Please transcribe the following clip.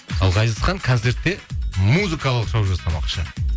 ал ғазизхан концертте музыкалық шоу жасамақшы